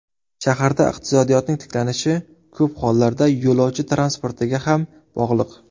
Shaharlarda iqtisodiyotning tiklanishi ko‘p hollarda yo‘lovchi transportiga ham bog‘liq.